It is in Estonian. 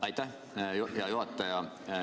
Aitäh!